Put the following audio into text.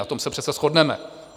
Na tom se přece shodneme.